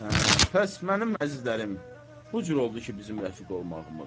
Hə, pəs mənim əzizlərim, bu cür oldu ki, bizim rəfiq olmağımız.